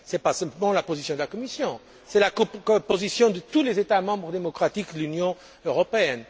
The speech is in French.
Ce n'est pas seulement la position de la Commission, c'est la position de tous les États membres démocratiques de l'Union européenne.